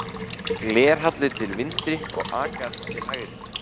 Glerhallur til vinstri og agat til hægri.